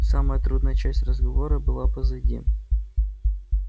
самая трудная часть разговора была позади